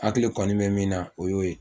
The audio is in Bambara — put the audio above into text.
Hakili kɔni bɛ min na o y'o ye